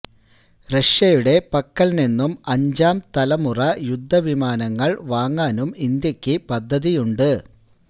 റഷ്യയുടെ പക്കല് നിന്നും അഞ്ചാം തലമുറ യുദ്ധവിമാനങ്ങള് വാങ്ങാനും ഇന്ത്യയ്ക്ക് പദ്ധതിയുണ്ട്